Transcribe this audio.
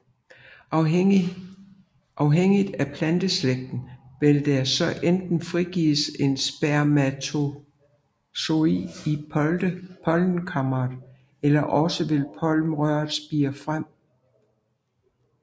Afhængigt af planteslægten vil der så enten frigives en spermatozoid i pollenkammeret eller også vil pollenrøret spire frem